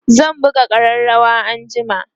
zan buga ƙararawa anjima